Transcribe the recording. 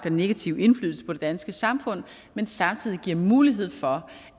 og negative indflydelse på det danske samfund men samtidig giver mulighed for